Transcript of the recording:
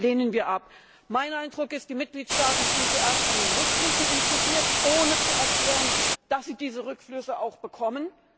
Das lehnen wir ab! Mein Eindruck ist Die Mitgliedstaaten sind zuerst an den Rückflüssen interessiert, ohne zu erklären, dass sie diese Rückflüsse auch bekommen.